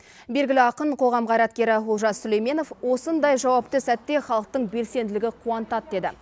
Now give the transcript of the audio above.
белгілі ақын қоғам қайраткері олжас сүлейменов осындай жауапты сәтте халықтың белсенділігі қуантады деді